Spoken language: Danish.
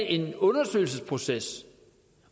en undersøgelsesproces